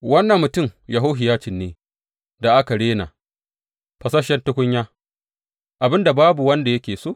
Wannan mutum Yehohiyacin ne da aka rena, fasasshen tukunya, abin da babu wanda yake so?